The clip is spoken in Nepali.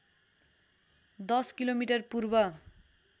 १० किलोमिटर पूर्व